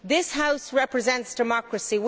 This House represents democracy.